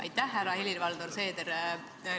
Aitäh, härra Helir-Valdor Seeder!